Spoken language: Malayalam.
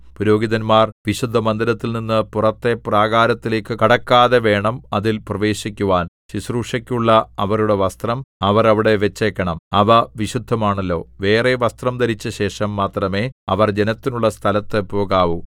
പുരോഹിതന്മാർ വിശുദ്ധമന്ദിരത്തിൽനിന്ന് പുറത്തെ പ്രാകാരത്തിലേക്കു കടക്കാതെ വേണം അതിൽ പ്രവേശിക്കുവാൻ ശുശ്രൂഷയ്ക്കുള്ള അവരുടെ വസ്ത്രം അവർ അവിടെ വച്ചേക്കണം അവ വിശുദ്ധമാണല്ലോ വേറെ വസ്ത്രം ധരിച്ച ശേഷം മാത്രമേ അവർ ജനത്തിനുള്ള സ്ഥലത്ത് പോകാവു